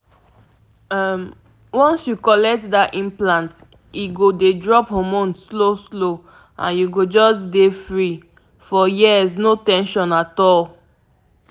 once once dem put implant for you e no dey stress — na um just chill mode for years no need to worry